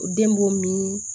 Den b'o min